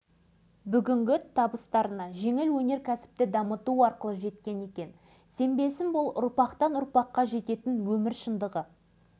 ал біз аралды қалпына келтіреміз деді ол кісі нық сеніммен көпшілік қуана қол соқты аралдың екінші